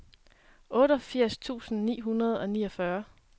otteogfirs tusind ni hundrede og niogfyrre